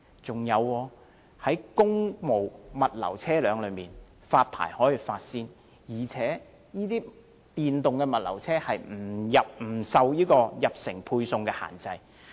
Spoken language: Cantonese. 再者，公務物流車輛可獲優先發牌，而且電動物流車入城配送不受限制。